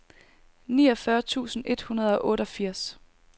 niogfyrre tusind et hundrede og otteogfirs